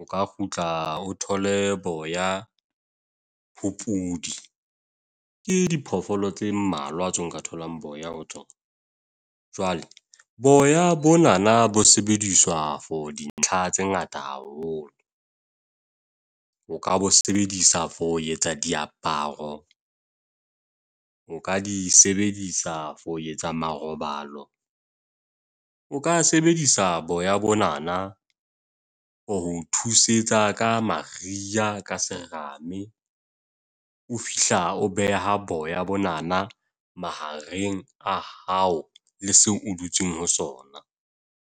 O ka kgutla o thole boya ho podi. Ke diphoofolo tse mmalwa tse nka tholang boya ho tsona. Jwale, boya bonana bo sebediswa for dintlha tse ngata haholo. O ka bo sebedisa for ho etsa diaparo. O ka di sebedisa for etsa marobalo. O ka sebedisa boya bonana o thusetsa ka Maria, ka serame. O fihla o beha boya bonana mahareng a hao le seo o dutseng ho sona.